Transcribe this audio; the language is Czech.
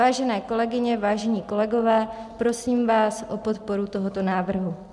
Vážené kolegyně, vážení kolegové, prosím vás o podporu tohoto návrhu.